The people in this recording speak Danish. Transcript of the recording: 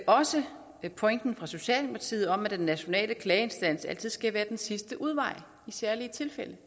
også pointen fra socialdemokratiet om at den nationale klageinstans altid skal være den sidste udvej i særlige tilfælde det